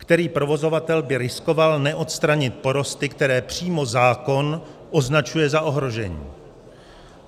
Který provozovatel by riskoval neodstranit porosty, které přímo zákon označuje za ohrožení?